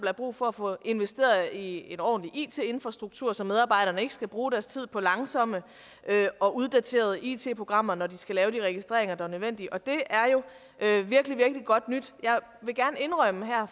er brug for at få investeret i en ordentlig it infrastruktur så medarbejderne ikke skal bruge deres tid på langsomme og uddaterede it programmer når de skal lave de registreringer der er nødvendige og det er jo virkelig virkelig godt nyt jeg vil gerne indrømme her